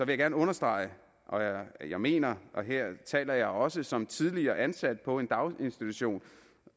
jeg gerne understrege at jeg mener og her taler jeg også som tidligere ansat på en daginstitution